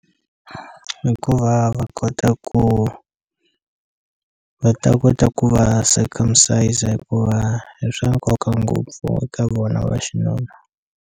Hikuva va kota ku va ta kota ku va circumcise hikuva i swa nkoka ngopfu eka vona va xinuna.